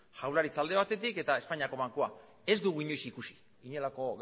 jaurlaritza alde batetik eta espainiako bankua ez dugu inoiz ikusi inolako